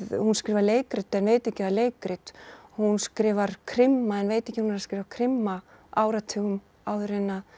hún skrifar leikrit en veit ekki að leikrit hún skrifar krimma en veit ekki að hún er að skrifa krimma áratugum áður en